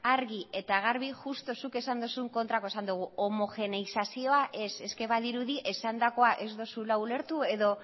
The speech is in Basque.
argi eta garbi justu zuk esan dozun kontrako esan dugu homogeneizazioa ez badirudi esandakoa ez duzula ulertu edo